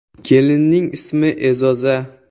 Kelinning ismi E’zoza.